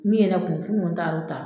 Min ye kun n kun taara o ta